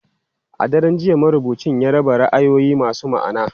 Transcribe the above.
A daren jiya, marubucin ya raba ra'ayoyi masu ma'ana.